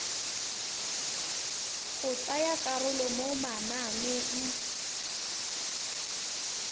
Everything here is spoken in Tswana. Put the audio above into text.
go tsaya karolo mo mananeng